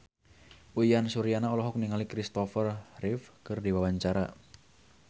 Uyan Suryana olohok ningali Kristopher Reeve keur diwawancara